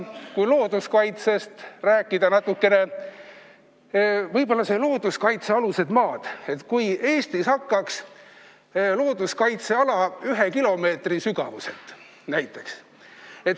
Kui looduskaitsest rääkida, siis mis oleks, kui Eestis hakkaks looduskaitseala näiteks ühe kilomeetri sügavuselt?